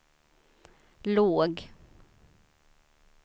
låg